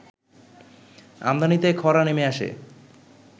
আমদানিতে খরা নেমে আসে